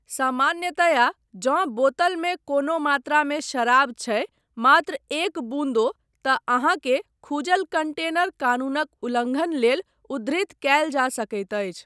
सामान्यतया, जँ बोतलमे कोनो मात्रामे शराब छै ,मात्र एक बून्दो, तँ अहाँकेँ खुजल कंटेनर कानूनक उल्लङ्घन लेल उद्धृत कयल जा सकैत अछि।